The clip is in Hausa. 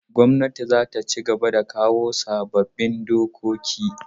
Gwamnatin za ta cigaba da kawo sabbin dokoki.